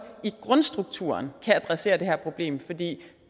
i grundstrukturen kan adressere det her problem for det